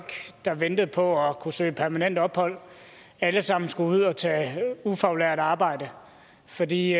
der ventede på at kunne søge permanent ophold alle sammen skulle ud og tage ufaglært arbejde fordi